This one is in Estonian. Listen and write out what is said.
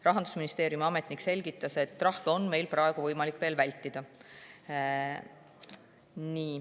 Rahandusministeeriumi ametnik selgitas, et praegu on veel võimalik trahve vältida.